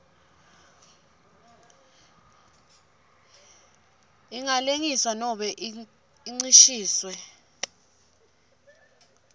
ingalengiswa nobe incishiswe